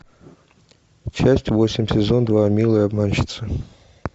часть восемь сезон два милая обманщица